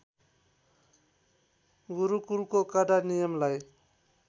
गुरुकुलको कडा नियमलाई